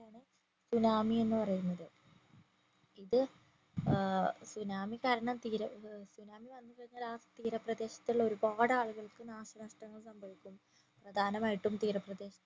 tsunami എന്ന് പറയുന്നത് ഇത് ഏർ സുനാമി കാരണം തീര ഏർ സുനാമി വന്നിട്ടുണ്ടെകില് ആ തീരപ്രദേശത്തുള്ള ഒരുപാട് ആളുകൾക് നാശനഷ്ടം സംഭവിക്കും പ്രധാനമായിട്ടും തീരപ്രദേശത്തെ